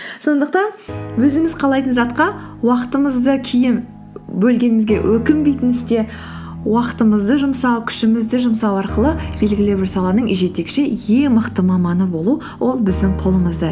сондықтан өзіміз қалайтын затқа уақытымызды кейін бөлгенімізге өкінбейтін істе уақытымызды жұмсау күшімізді жұмсау арқылы белгілі бір саланың жетекші ең мықты маманы болу ол біздің қолымызда